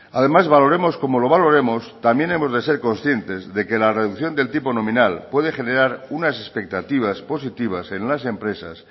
además valoremos como lo valoremos también hemos de ser conscientes que la reducción del tipo nominal puede generar unas expectativas positivas en las empresas